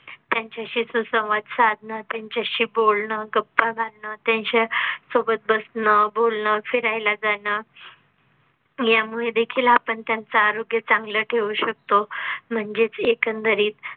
त्यांच्या शी सुसंवाद साधन त्यांच्या शी बोलणं, गप्पा घालणं, त्यांच्या सोबत बसणं, बोलणं फिरायला जाण यामुळे देखील आपण त्यांचा आरोग्य चांगलं ठेवू शकतो. म्हणजेच एकंदरीत